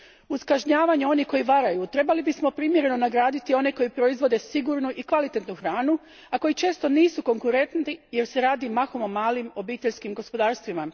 Uz kažnjavanje onih koji varaju trebali bismo primjereno nagraditi one koji proizvode sigurnu i kvalitetnu hranu, a koji često nisu konkurentni jer se radi mahom o malim obiteljskim gospodarstvima.